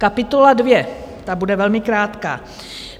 Kapitola dvě, ta bude velmi krátká.